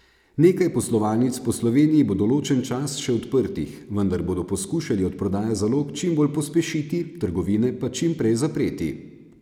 Nekaj poslovalnic po Sloveniji bo določen čas še odprtih, vendar bodo poskušali odprodajo zalog čim bolj pospešiti, trgovine pa čim prej zapreti.